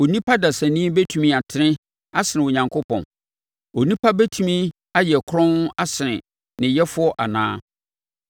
‘Onipa dasani bɛtumi atene asene Onyankopɔn? Onipa bɛtumi ayɛ kronn asene ne Yɛfoɔ anaa?